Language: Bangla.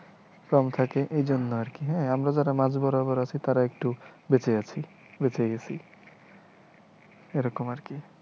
কম থাকে এইজন্য আর কি, হ্যাঁ আমরা যারা মাঝ বরাবর আছি তাঁরা একটু বেঁচে আছি বেঁচে গেছি, এইরকম আরকি